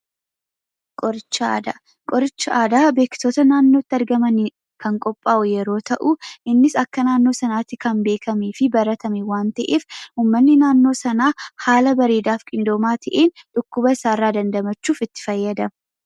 Qoricha aadaa, qoricha aadaa beektoota naannootti argamaniin kan qopha'u yoo ta'u, innis akka naannoo sanaatti kan beekamee fi baratame waan ta'eef uummanni naannoo sana haala bareeda fi qindoomaa ta'een, dhukkuba isaarra dandamachuuf itti fayyadamu.